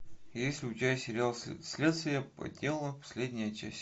есть ли у тебя сериал следствие по телу последняя часть